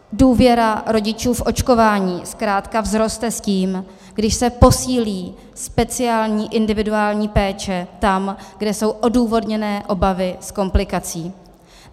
Důvěra rodičů v očkování zkrátka vzroste s tím, když se posílí speciální individuální péče tam, kde jsou odůvodněné obavy z komplikací.